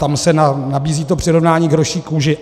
Tam se nabízí to přirovnání k hroší kůži.